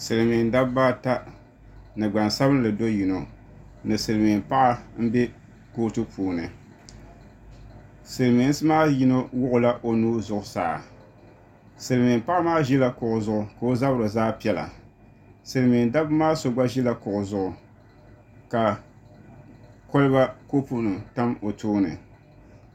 Silimiin dabba ata ni gbansabinli do'yino ni Silimiin paɣa m be kootu puuni silimiinsi maa yino wuɣila o nuu zuɣusaa Silimiin paɣa maa ʒila kuɣu zuɣu ka o zabiri zaa piɛla Silimiin dabba maa so ʒila kuɣu zuɣu ka koliba kopu nima tam o tooni.